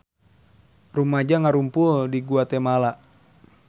Rumaja ngarumpul di Guatemala